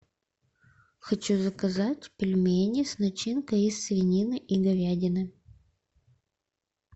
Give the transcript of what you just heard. хочу заказать пельмени с начинкой из свинины и говядины